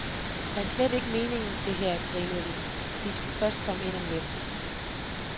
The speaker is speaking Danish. Det er slet ikke meningen det her, grinede de, de skulle først komme ind om lidt.